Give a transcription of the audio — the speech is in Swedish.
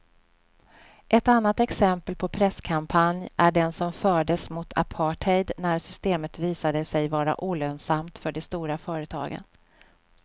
Ett annat exempel på presskampanj är den som fördes mot apartheid när systemet visade sig vara olönsamt för de stora företagen.